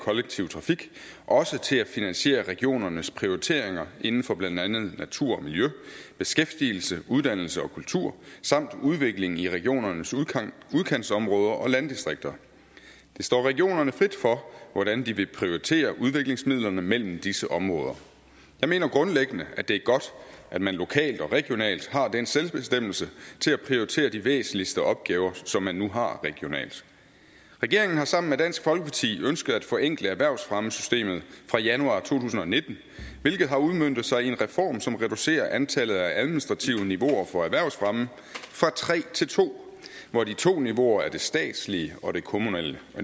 kollektiv trafik også til at finansiere regionernes prioriteringer inden for blandt andet natur og miljø beskæftigelse uddannelse og kultur samt udvikling i regionernes udkantsområder og landdistrikter det står regionerne frit for hvordan de vil prioritere udviklingsmidlerne mellem disse områder jeg mener grundlæggende at det er godt at man lokalt og regionalt har den selvbestemmelse til at prioritere de væsentligste opgaver som man nu har regionalt regeringen har sammen med dansk folkeparti ønsket at forenkle erhvervsfremmesystemet fra januar to tusind og nitten hvilket har udmøntet sig i en reform som reducerer antallet af administrative niveauer for erhvervsfremme fra tre til to hvor de to niveauer er det statslige og det kommunale